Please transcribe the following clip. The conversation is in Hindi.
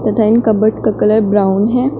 तथा ये कवर्ड का कलर ब्राऊन है।